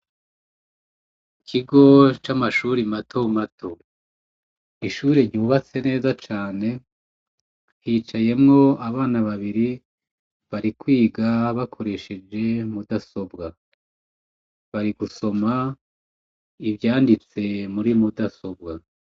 Ikigo c'amashure matomato, ishure ryubatse neza cane hicayemwo abana babiri bari kwiga bakoresheje mudasobwa, bari gusoma ivyanditse muri mudasobwa.